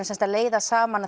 sem sagt að leiða saman